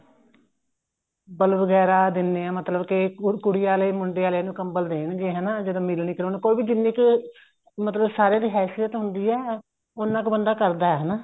ਕੰਬਲ ਵਗੈਰਾ ਦਿੰਦੇ ਆ ਮਤਲਬ ਕੇ ਕੁੜੀ ਆਲੇ ਮੁੰਡੇ ਆਲੇ ਨੂੰ ਕੰਬਲ ਦੇਣਗੇ ਹਨਾ ਜਦੋਂ ਮਿਲਣੀ ਕਰਾਉਣ ਕੋਈ ਵੀ ਜਿੰਨੀ ਕੁ ਮਤਲਬ ਸਾਰਿਆਂ ਦੀ ਹੈਸਿਅਤ ਹੁੰਦੀ ਹੈ ਉੰਨਾ ਕੁ ਬੰਦਾ ਕਰਦਾ ਹਨਾ